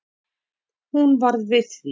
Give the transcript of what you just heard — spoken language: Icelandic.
Hún varð við því